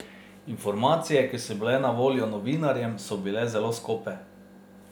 Informacije, ki so bile na voljo novinarjem, so bile zelo skope.